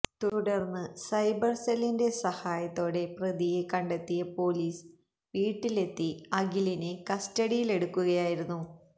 തുടർന്ന് സൈബർ സെല്ലിന്റെ സഹായത്തോടെ പ്രതിയെ കണ്ടെത്തിയ പൊലീസ് വീട്ടിലെത്തി അഖിലിനെ കസ്റ്റഡിയിലെടുക്കുക ആയിരുന്നു